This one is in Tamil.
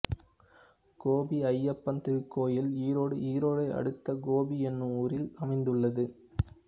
கோபி ஐயப்பன் திருக்கோயில் ஈரோடு ஈரோடு அடுத்த கோபி என்னும் ஊரில் அமைந்துள்ளது